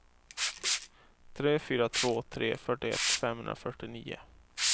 tre fyra två tre fyrtioett femhundrafyrtionio